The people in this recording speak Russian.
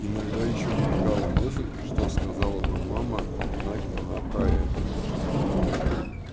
иногда ещё мелькала мысль что сказала бы мама узнай она про это